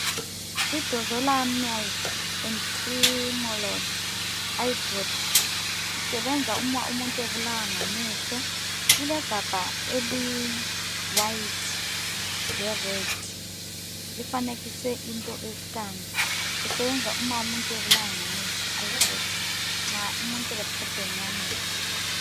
I-Dorzolamide and Timolol eyedrops, isebenza uma umuntu ebulawa ngamehlo. Ilegabha eli- white le-red. lifanekiswe into e-scan. Kusebenza uma umuntu ebulawa ngamehlo, eyedrops, nxa umuntu ele-problem yamehlo.